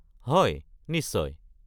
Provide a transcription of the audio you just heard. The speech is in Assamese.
হয়, নিশ্চয়।